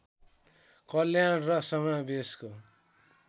कल्याण र समावेशको